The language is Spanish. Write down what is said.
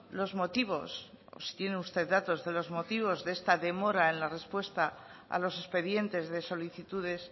los motivos o si tienen usted datos de los motivos de esta demora en la respuesta a los expedientes de solicitudes